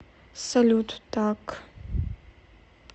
салют так